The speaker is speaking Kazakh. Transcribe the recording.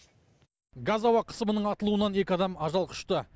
газ ауа қысымының атылуынан екі адам ажал құшты